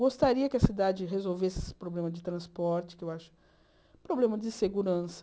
Gostaria que a cidade resolvesse esse problema de transporte, que eu acho... Problema de segurança.